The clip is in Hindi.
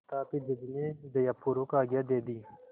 तथापि जज ने दयापूर्वक आज्ञा दे दी